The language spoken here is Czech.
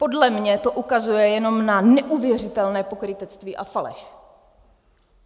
Podle mě to ukazuje jenom na neuvěřitelné pokrytectví a faleš!